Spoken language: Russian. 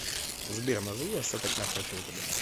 сбер назови остаток на карте втб